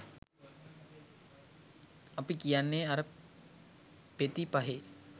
අපි කියන්නෙ අර පෙති පහේ